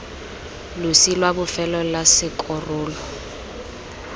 losi lwa bofelo lwa sekorolo